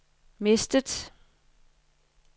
mistet